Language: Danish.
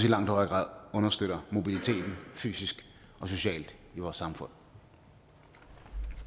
i langt højere grad understøtter mobiliteten fysisk og socialt i vores samfund